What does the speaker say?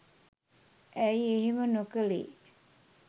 ඇයි එහෙම නොකළේ